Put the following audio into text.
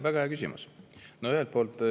Väga hea küsimus.